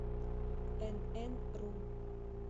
энэнру